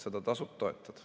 Seda tasub toetada.